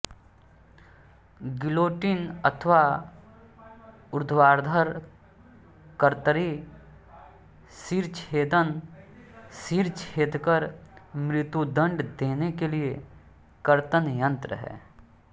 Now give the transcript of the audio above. guillotine अथवा ऊर्ध्वाधर कर्तरी शिरश्छेदन सिर छेदकर मृत्युदण्ड देने के लिए कर्त्तन यन्त्र है